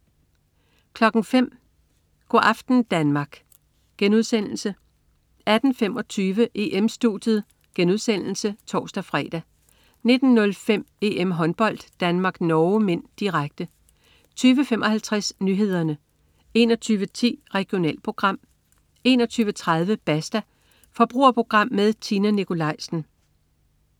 05.00 Go' aften Danmark* 18.25 EM-Studiet* (tors-fre) 19.05 EM-Håndbold: Danmark-Norge (m), direkte 20.55 Nyhederne 21.10 Regionalprogram 21.30 Basta. Forbrugerprogram med Tina Nikolaisen